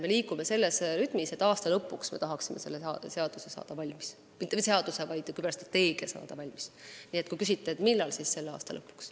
Me liigume sellises rütmis, et tahaksime saada selle strateegia – mitte seaduse – valmis selle aasta lõpuks.